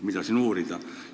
Mida siin uurida?